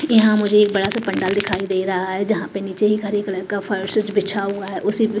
यहां मुझे एक बड़ा सा पंडाल दिखाई दे रहा है जहां पे नीचे एक हरे कलर का फर्स बिछा हुआ है उसे--